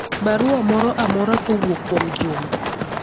barua moro amora kowuok kuom juma